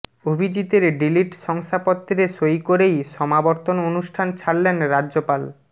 অভিজিতের D Litt শংসাপত্রে সই করেই সমাবর্তন অনুষ্ঠান ছাড়লেন রাজ্যপাল